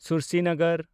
ᱥᱩᱨᱥᱤᱱᱚᱜᱚᱨ